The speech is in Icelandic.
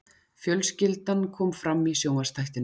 Fjölskyldan kom fram í sjónvarpsþættinum